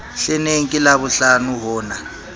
hleneng ke labohlano ho na